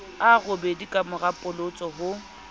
a robedi kamora polotso ho